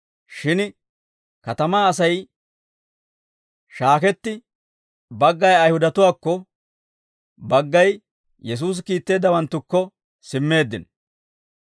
Shin katamaa Asay shaaketti, baggay Ayihudatuwaakko, baggay Yesuusi kiitteeddawanttukko simmeeddino.